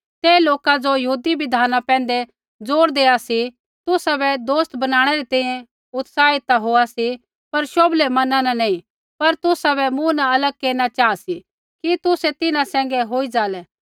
ते लोका ज़ो यहूदी बिधाना पैंधै जोर देआ सी तुसाबै दोस्त बनाणै री तैंईंयैं उत्साही ता होआ सी पर शोभले मना न नैंई पर तुसाबै मूँ न अलग केरना चाहा सी कि तुसै तिन्हां सैंघै होई जालै